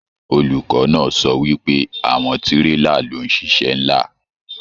Olùkọ náà sọ wípé àwọn tírélà ló n ṣiṣẹ nlá.